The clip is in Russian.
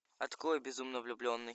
открой безумно влюбленный